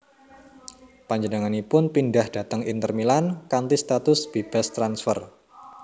Panjenenganipun pindah dhateng Inter Milan kanthi status bebas transfer